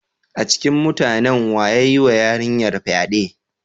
A cikin mutanen wa ya yiwa yarinyar fyade?